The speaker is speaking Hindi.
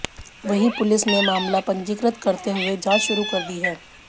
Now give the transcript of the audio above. वहीं पुलिस ने मामला पंजीकृत करते हुए जांच शुरू कर दी है